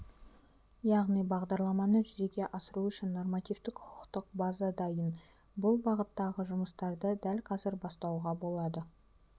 яғни бағдарламаны жүзеге асыру үшін нормативтік-құқықтық база дайын бұл бағыттағы жұмыстарды дәл қазір бастауға болады